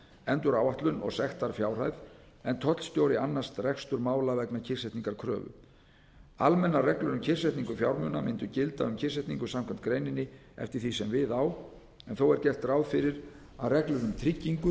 meta væntanlega enduráætlun og sektarfjárhæð en tollstjóri annast rekstur mála vegna kyrrsetningarkröfu almennar reglur um kyrrsetningu fjármuna mundu gilda um kyrrsetningu samkvæmt greininni eftir því sem við á en þó er gert ráð fyrir að reglur um tryggingu